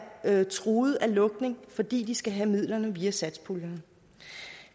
er truet af lukning fordi de skal have midlerne via satspuljen